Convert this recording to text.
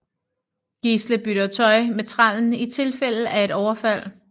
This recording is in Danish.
Gisle bytter tøj med trællen i tilfælde af et overfald